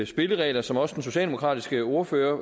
spilleregler som også den socialdemokratiske ordfører